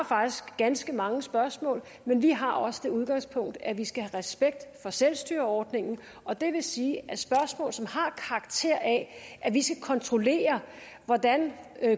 faktisk ganske mange spørgsmål men vi har også det udgangspunkt at vi skal have respekt for selvstyreordningen og det vil sige at spørgsmål som har karakter af at vi skal kontrollere hvordan